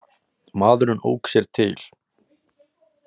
Maðurinn ók sér til.